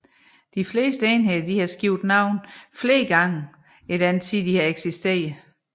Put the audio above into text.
De fleste enheder har skiftet navne flere gange i den tid de har eksisteret